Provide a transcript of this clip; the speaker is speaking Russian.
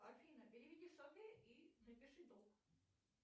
афина переведи и напиши долг